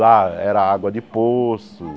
Lá era água de poço.